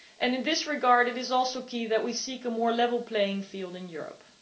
In this regard it is also key that we seek a more level playing field in Europe.